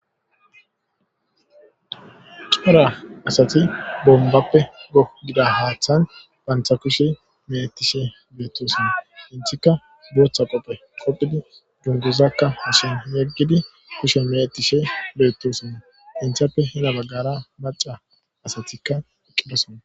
Cora asati bombappe go gida haaththan bantha kushe meettishe beettosinna intika dooththa qopphe qopphidi dunguzakka hishon yeggidi kushe meetishe beettosinna inthappe hena baggara maca asatikka eqqidasona